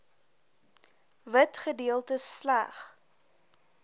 wit gedeeltes slegs